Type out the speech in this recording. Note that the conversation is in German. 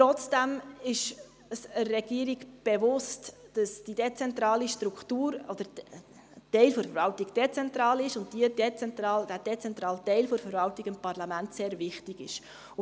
Trotzdem ist es der Regierung bewusst, dass ein Teil der Verwaltung dezentral ist und dass dieser dezentrale Teil der Verwaltung dem Parlament sehr wichtig ist.